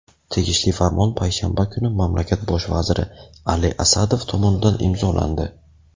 Tegishli farmon payshanba kuni mamlakat Bosh vaziri Ali Asadov tomonidan imzolandi.